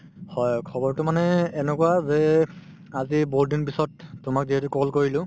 হয়, খবৰতো মানে এনেকুৱা যে আজি বহুত দিন পিছত তোমাক যিহেতু call কৰিলো